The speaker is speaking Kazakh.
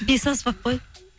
бес аспап қой